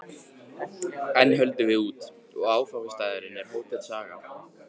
Enn höldum við út, og áfangastaðurinn er Hótel Saga.